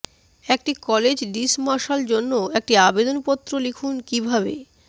একটি college dismissal জন্য একটি আবেদন পত্র লিখুন কিভাবে